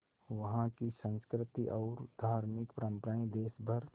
वहाँ की संस्कृति और धार्मिक परम्पराएं देश भर